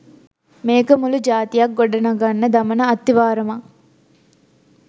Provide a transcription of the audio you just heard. මේක මුළු ජාතියක් ගොඩ නගන්න දමන අත්තිවාරමක්.